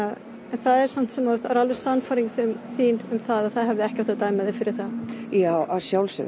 það er samt sem áður sannfæring þín að það hefði ekki átt að dæma þig fyrir það já að sjálfsögðu